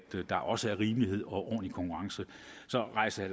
der også er rimelighed og ordentlig konkurrence så rejser